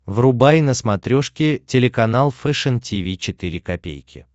врубай на смотрешке телеканал фэшн ти ви четыре ка